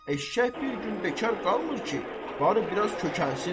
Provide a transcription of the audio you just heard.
Eşşək bir gün bekar qalmır ki, barı biraz kökəlsin.